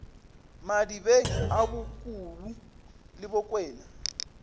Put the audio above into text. madibeng a bokubu le bokwena